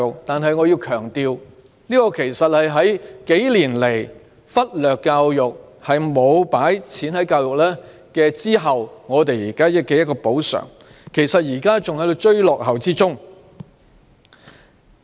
但是，我要強調，這是對數年來忽略教育、沒有投放資源作出的補償，現時還在"追落後"當中。